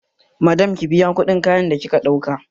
Madam ki biya kuɗin kayan da kika ɗauka!